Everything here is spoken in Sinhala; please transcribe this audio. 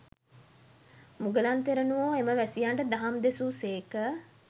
මුගලන් තෙරණුවෝ එම වැසියන්ට දහම් දෙසු සේක